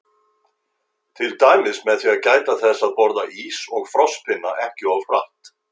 Til dæmis með því að gæta þess að borða ís og frostpinna ekki of hratt.